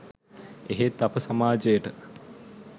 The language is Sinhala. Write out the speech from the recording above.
එහෙත් අප සමාජයට